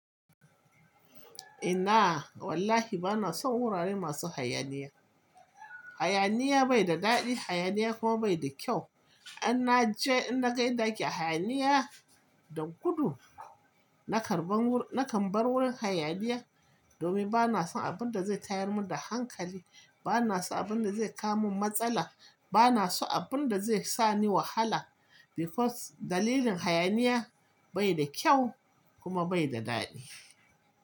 Ina wallahi bana son wurare masu hayaniya. Hayaniya bai da daɗi, hayaniya kuma bai da kyau. In na ce in na kai ɗaki hayaniya da gudu, na karɓan wur-- na kan bar wurin hayaniya domin bana son abin da zai tayar mun da hankali. Bana so abin da zai kawo min matsala. Bana so abin da zai sani wahala because dalilin hayaniya bai da kyau kuma bai da daɗi.